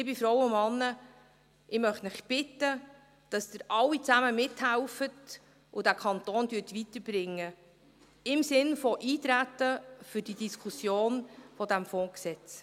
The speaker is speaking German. Liebe Frauen und Männer, ich möchte Sie bitten, dass Sie alle zusammen mithelfen und diesen Kanton weiterbringen, im Sinne des Eintretens auf die Diskussion zu diesem Fondsgesetz.